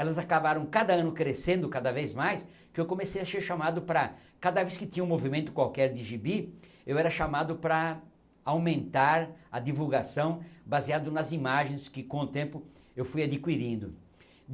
Elas acabaram cada ano crescendo, cada vez mais, que eu comecei a ser chamado para, cada vez que tinha um movimento qualquer de gibi, eu era chamado para aumentar a divulgação baseado nas imagens que, com o tempo, eu fui adquirindo.